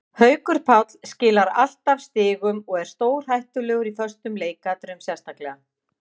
Haukur Páll skilar alltaf stigum og er stórhættulegur í föstum leikatriðum sérstaklega.